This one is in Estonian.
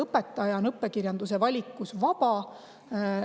Õpetaja on õppekirjanduse valikus vaba.